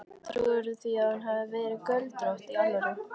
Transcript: Trúirðu því að hún hafi verið göldrótt. í alvöru?